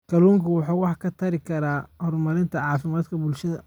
Kalluunku waxa uu wax ka tari karaa horumarinta caafimaadka bulshada.